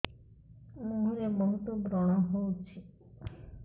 ମୁଁହରେ ବହୁତ ବ୍ରଣ ହଉଛି